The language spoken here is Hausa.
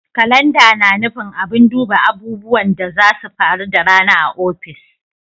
Kalanda na nufin abin duba abubuwan da zasu faru da rana a ofis.